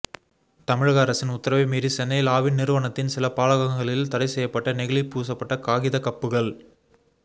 தமிழக அரசின் உத்தரவை மீறி சென்னையில் ஆவின் நிறுவனத்தின் சில பாலகங்களில் தடை செய்யப்பட்ட நெகிழி பூசப்பட்ட காகித கப்புகள்